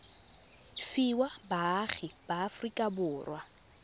fiwa baagi ba aforika borwa